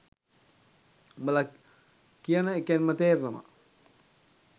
උඹල කියන එකෙන්ම තේරෙනවා